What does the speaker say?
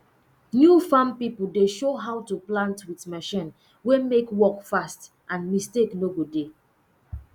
new farm pipo dey show how to plant with machine wey mek work fast and mistake no go dey